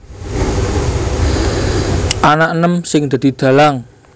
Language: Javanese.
Ana enem sing dadi dhalang